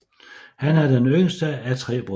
Han er den yngste af tre brødre